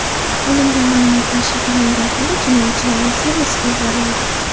Olingan ma’lumotlar shifrlangan holda jinoyatchilarning serveriga yuboriladi.